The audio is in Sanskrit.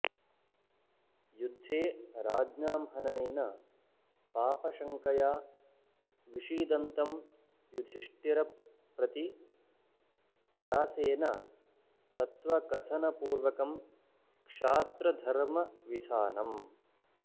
युद्धे राज्ञां हननेन पापशङ्कया विषीदन्तं युधिष्ठिरंप्रति व्यासेन तत्त्वकथनपूर्वकं क्षात्रधर्मविधानम्